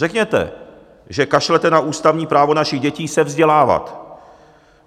Řekněte, že kašlete na ústavní právo našich dětí se vzdělávat.